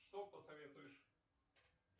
что посоветуешь